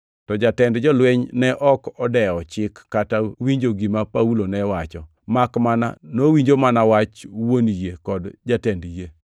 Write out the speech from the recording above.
To jatend jolweny ne ok odewo chik kata winjo gima Paulo ne owacho, makmana nowinjo mana wach wuon yie kod jatend yie.